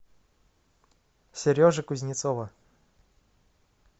сережи кузнецова